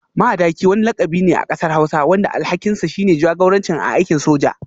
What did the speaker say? Madaki wani lakabi ne a kasar hausa wanda alhakinsa shine jagoranci a aikin soja.